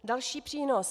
Další přínos.